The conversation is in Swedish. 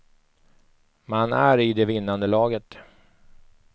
Man är i det vinnande laget.